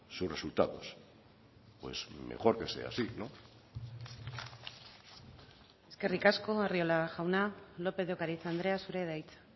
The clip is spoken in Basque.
sus resultados pues mejor que sea así no eskerrik asko arriola jauna lópez de ocariz andrea zurea da hitza